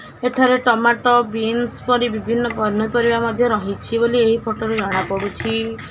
ଏଠାରେ ଟମାଟ ବିନ୍ସ୍ ପରି ବିଭିନ୍ନ ପନିପରିବା ମଧ୍ୟ ରହିଛି ଏଇ ଫୋଟରୁ ଜଣାପଡ଼ୁଛି ।